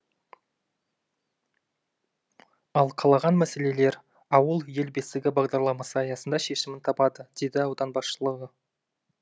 ал қалған мәселелер ауыл ел бесігі бағдарламасы аясында шешімін табады дейді аудан басшылығы